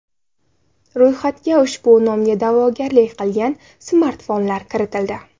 Ro‘yxatga ushbu nomga da’vogarlik qilgan smartfonlar kiritildi.